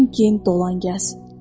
Ondan gen dolan, gəz.